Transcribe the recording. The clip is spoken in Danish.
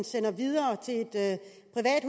sender videre til et det